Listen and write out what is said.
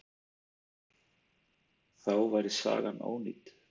Þá væri sagan ónýt.